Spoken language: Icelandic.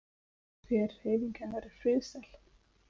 Hver hreyfing hennar er friðsæl.